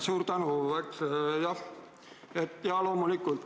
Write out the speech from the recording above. Suur tänu!